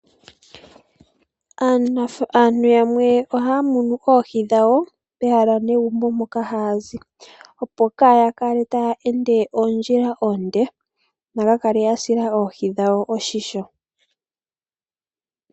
Aantu yamwe ohaya munu oohi pooha dhomagumbo mpoka haya zi, opo kaaya kale taya ende oondjila oonde yaka sile oohi oshimpwiyu.